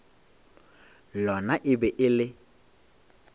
lona e be e le